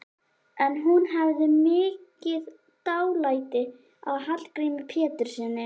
En hún hafði mikið dálæti á Hallgrími Péturssyni.